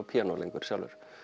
píanó lengur sjálfur